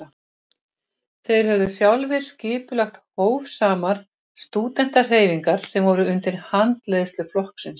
Þeir höfðu sjálfir skipulagt hófsamar stúdentahreyfingar sem voru undir handleiðslu flokksins.